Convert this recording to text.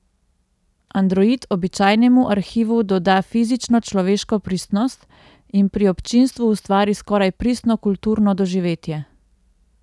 Android običajnemu arhivu doda fizično človeško prisotnost in pri občinstvu ustvari skoraj pristno kulturno doživetje.